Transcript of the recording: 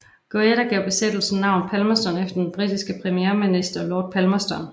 Goyder gav bosættelsen navnet Palmerston efter den britiske premierminister Lord Palmerston